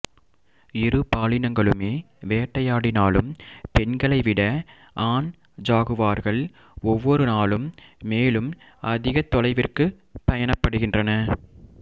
இரு பாலினங்களுமே வேட்டையாடினாலும் பெண்களை விட ஆண் ஜாகுவார்கள் ஒவ்வொரு நாளும் மேலும் அதிகத் தொலைவிற்குப் பயணப்படுகின்றன